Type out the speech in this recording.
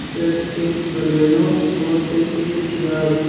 फिर एक बलेनो और फिर एक सियास--